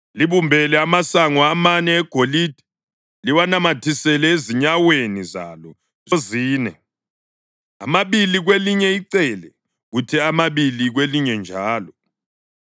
Libumbele amasongo amane egolide liwanamathisele ezinyaweni zalo zozine, amabili kwelinye icele kuthi amabili kwelinye njalo.